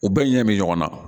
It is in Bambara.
U bɛɛ ɲɛ bɛ ɲɔgɔn na